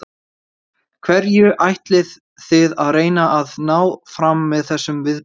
Hverju ætlið þið að reyna að ná fram með þessum viðburði?